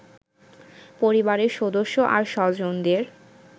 পরিবারের সদস্য আর স্বজনদের